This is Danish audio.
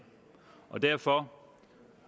og derfor